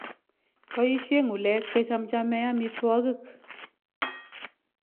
Boisyee ng'ulek kechamchamee amitwokik